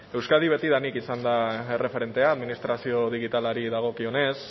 euskadi betidanik izan da erreferentea administrazio digitalari dagokionez